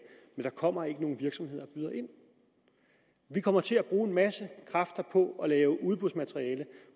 men der kommer ikke nogen virksomheder og byder ind de kommer til at bruge en masse kræfter på at lave udbudsmateriale